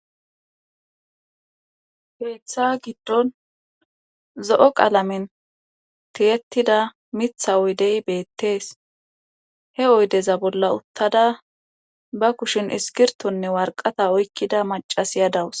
heeththa giddon zo7o qalamin tiyettida mitha oydey beettees he oydeza bolla uttada ba kushin iskirtonne warqata oykkida macasiya dawus